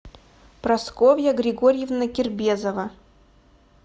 прасковья григорьевна кербезова